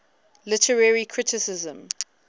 literary criticism